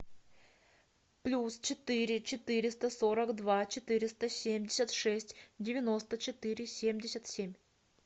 плюс четыре четыреста сорок два четыреста семьдесят шесть девяносто четыре семьдесят семь